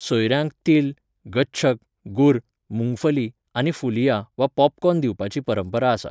सोयऱ्यांक तिल, गच्छक, गुर, मूंगफली आनी फुलिया वा पोपकॉर्न दिवपाची परंपरा आसा.